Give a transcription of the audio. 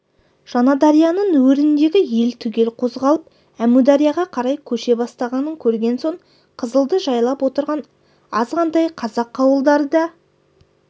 жаңадарияның өріндегі ел түгел қозғалып әмударияға қарай көше бастағанын көрген соң қызылды жайлап отырған азғантай қазақ ауылдары да